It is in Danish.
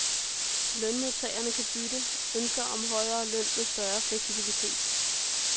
Lønmodtagerne kan bytte ønsker om højere løn med større fleksibilitet.